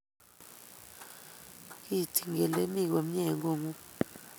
kiityini kele imi komie eng kotng'ung